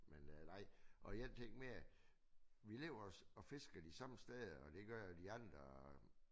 Men øh nej og jeg tænkte mere vi lever og fisker de samme steder og det gør de andre